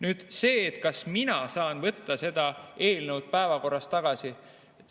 Nüüd see, kas mina saan võtta selle eelnõu päevakorrast tagasi.